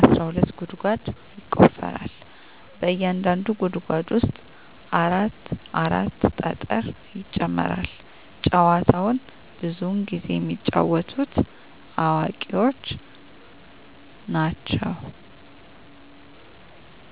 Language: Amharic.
አስራ ሁለት ጉድጓድ ይቆፈራል በእያንዳንዱ ጉድጓድ ውስጥ አራት አራት ጠጠር ይጨመራል። ጨዎቸውን ብዙውን ጊዜ የሚጫወቱት አዋቂዎች ናቸው።